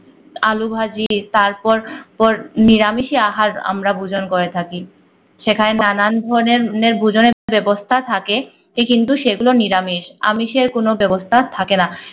আলু ভাঁজি তারপর পর নিরামিষ আহার আমরা ভূজন করে থাকি। সেখানে নানা ধরনের নের ভূজনে ব্যবস্থা থাকে। সে কিন্তু সেগুলো নিরামিষ আমিষের কোন ব্যবস্থা থাকে না